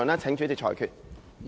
請主席裁決。